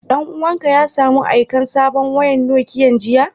Dan uwan ka ya samu aikan sabon wakan Nokiyan jiya?